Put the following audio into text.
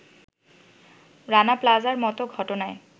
রানা প্লাজার মত ঘটনায়